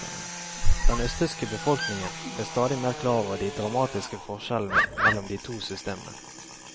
Den østtyske befolkningen ble stadig mer klar over de dramatiske forskjellene mellom de to systemene.